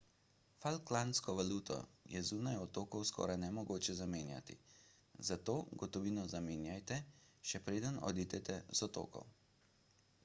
falklandsko valuto je zunaj otokov skoraj nemogoče zamenjati zato gotovino zamenjajte še preden odidete z otokov